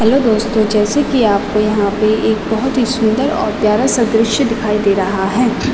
Hello दोस्तों जैसे की आपको यहाँ पे एक बहौत ही सुंदर और प्यारा सा दॄश्य दिखाई दे रहा है।